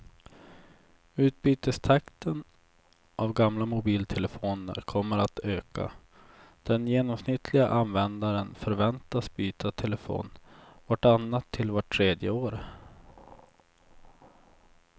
Utbytestakten av gamla mobiltelefoner kommer att öka, den genomsnittliga användaren förväntas byta telefon vart annat till vart tredje år.